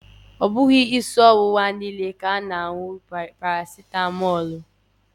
Ọ bughị isi ọwụwa niile ka a na anwụrụ paracetamọọlụ